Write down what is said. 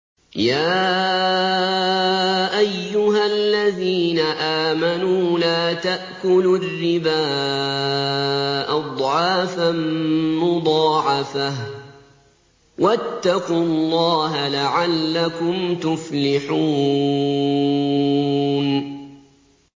يَا أَيُّهَا الَّذِينَ آمَنُوا لَا تَأْكُلُوا الرِّبَا أَضْعَافًا مُّضَاعَفَةً ۖ وَاتَّقُوا اللَّهَ لَعَلَّكُمْ تُفْلِحُونَ